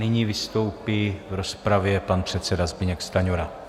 Nyní vystoupí v rozpravě pan předseda Zbyněk Stanjura.